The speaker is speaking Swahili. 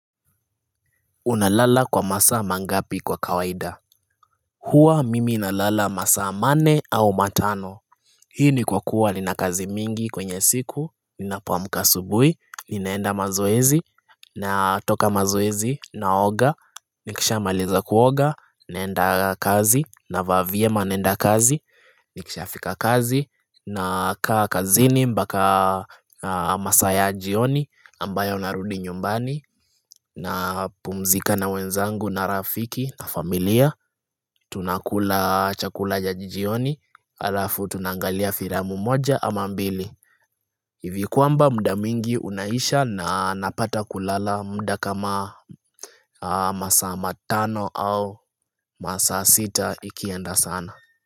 Unalala kwa masaa mangapi kwa kawaida? Huwa mimi nalala masaa manne au matano. Hii ni kwa kuwa nina kazi mingi kwenye siku, ninapoamka asubuhi, ninaenda mazoezi, natoka mazoezi, naoga, nikisha maliza kuoga, naenda kazi, navaa vyema naenda kazi, nikisha fika kazi, nakaa kazini mpaka masaa ya jioni ambayo narudi nyumbani. Napumzika na wenzangu na rafiki na familia Tunakula chakula cha jioni, halafu tunaangalia filamu moja ama mbili. Hivi kwamba muda mwingi unaisha na napata kulala muda kama masaa matano au masaa sita ikienda sana.